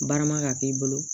Barama ka k'i bolo